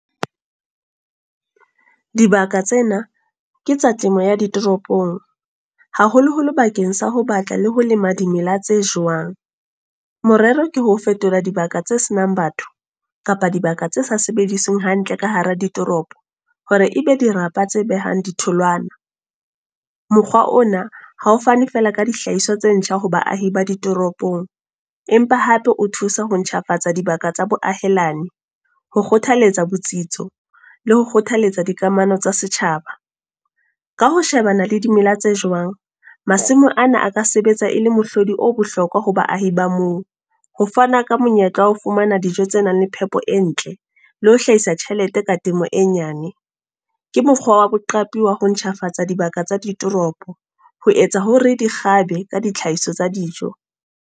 Dibaka tsena, ke tsa temo ya di toropong. Haholoholo bakeng sa ho batla le ho lema dimela tse jowang. Morero ke ho fetola dibaka tse senang batho, kapa dibaka tse sa sebedisweng hantle ka hara ditoropo. Hore ebe dirapa tse behang ditholwana. Mokgwa ona, hao fane fela ka dihlahiswa tse ntjha ho baahi ba ditoropong. Empa hape o thusa ho ntjhafatsa dibaka tsa boahelani. Ho kgothaletsa botsitso, le ho kgothaletsa dikamano tsa setjhaba. Ka ho shebana le dimela tse jowang, masimo ana a ka sebetsa e le mohlodi o bohlokwa ho baahi ba moo. Ho fana ka monyetla wa ho fumana dijo tse nang le phepo e ntle. Le ho hlahisa tjhelete ka temo e nyane. Ke mokgwa wa boqapi wa ho ntjhafatsa dibaka tsa ditoropo. Ho etsa hore di kgabe ka ditlhahiso tsa dijo.